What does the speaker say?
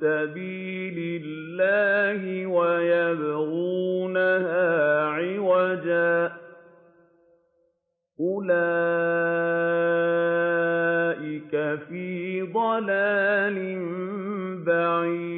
سَبِيلِ اللَّهِ وَيَبْغُونَهَا عِوَجًا ۚ أُولَٰئِكَ فِي ضَلَالٍ بَعِيدٍ